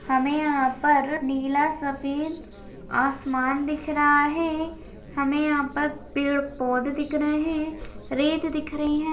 हमे यहा पर नीला सफ़ेद आसमान दिख रहा है। हमे यहा पर पेड़ पौधे दिख रहे है। रेत दिख रही है।